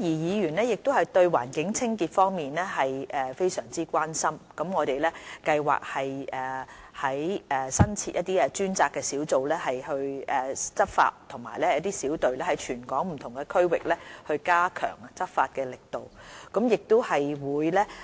議員對環境清潔非常關心，我們計劃新增專責執法小隊在全港不同區域加強執法力度，亦計